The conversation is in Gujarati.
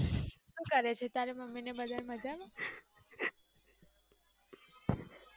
શું કરે છે તારા મમ્મી અને બધા મજામાં?